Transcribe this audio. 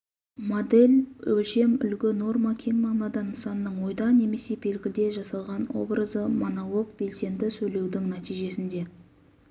модель өлшем үлгі норма кең мағынада нысанның ойда немесе белгіде жасалған образы монолог белсенді сөйлеудің нәтижесінде